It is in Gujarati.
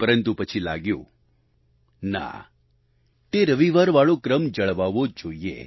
પરંતુ પછી લાગ્યું ના તે રવિવાર વાળો ક્રમ જળવાવો જોઈએ